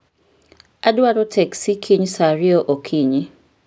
Adwaro teksi kiny saa ariyo okinyi